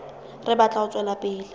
re batla ho tswela pele